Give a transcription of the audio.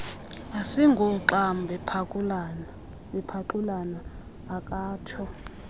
asingooxam bephaxulana akatsho